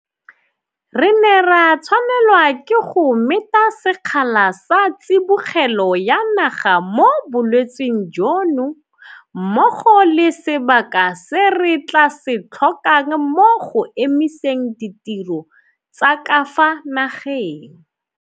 Re ne ra tshwanelwa ke go meta sekgala sa tsibogelo ya naga mo bolwetseng jono mmogo le sebaka se re tla se tlhokang mo go emiseng ditiro tsa ka fa nageng.